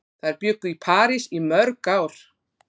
Þær bjuggu í París í mörg ár.